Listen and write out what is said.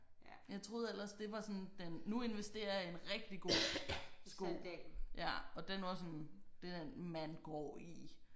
Jeg troede ellers det var sådan den nu investerer jeg i en rigtig god sko ja og den var sådan det er den man går i